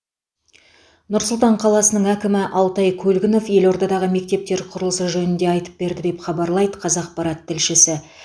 нұр сұлтан қаласының әкімі алтай көлгінов елордадағы мектептер құрылысы жөнінде айтып берді деп хабарлайды қазақпарат тілшісі